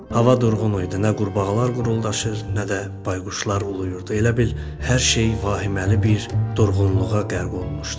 Hava durğun idi, nə qurbağalar quruldaşır, nə də bayquşlar uluyurdu, elə bil hər şey vahiməli bir durğunluğa qərq olmuşdu.